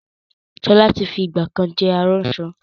Sọlá tí fi ìgbàkan jẹ́ aránṣọ